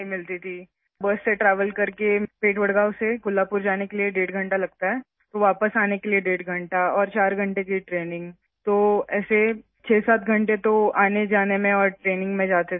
وڈگاؤں سے کولہاپور تک بس کے ذریعے سفر کرنے میں ڈیڑھ گھنٹہ لگتا ہے، پھر واپس آنے میں ڈیڑھ گھنٹہ، اور ٹریننگ کے چار گھنٹے، اس طرح، سفر اور تربیت کے لیے 67 گھنٹےتو آنے جانے میں ہی نکل جاتے تھے